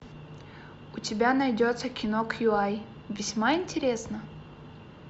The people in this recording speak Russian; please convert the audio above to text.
у тебя найдется кино кью ай весьма интересно